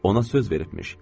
Ona söz veribmiş.